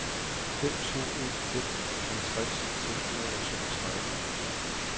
fem to en fem halvtreds seks hundrede og toogtredive